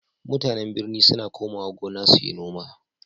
MutAnan birni suna komawa gona suyi noma